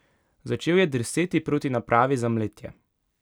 Začel je drseti proti napravi za mletje.